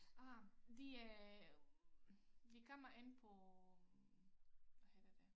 Ah det øh det kommer an på øh hvad hedder det